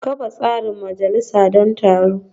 Kafa tsarin majalisa don taron